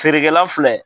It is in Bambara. Feerekɛla filɛ